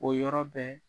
O yɔrɔ bɛɛ